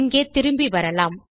இங்கே திரும்பி வரலாம்